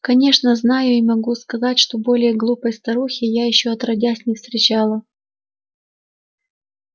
конечно знаю и могу сказать что более глупой старухи я ещё отродясь не встречала